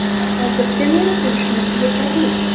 Hozircha men uchun shunisi yetarli.